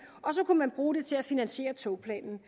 og så kan man bruge det til at finansiere togplanen